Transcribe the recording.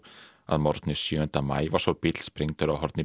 að morgni sjö maí var svo bíll sprengdur á horni